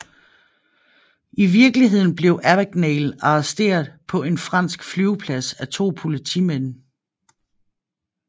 I virkeligheden blev Abagnale arresteret på en fransk flyveplads af to politimænd